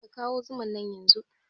Ka kawo zuman nan yanzun!